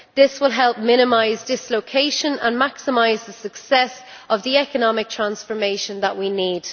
This will help minimise dislocation and maximise the success of the economic transformation that we need.